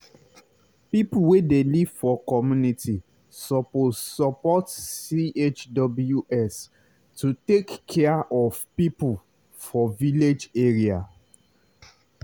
people wey dey live for community suppose support chws to take care of people for village area.